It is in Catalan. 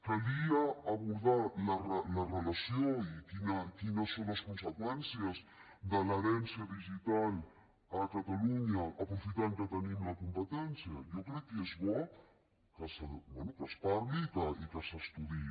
calia abordar la relació i quines són les conseqüències de l’herència digital a catalunya aprofitant que en tenim la competència jo crec que és bo bé que es parli i que s’estudiï